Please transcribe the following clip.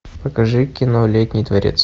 покажи кино летний дворец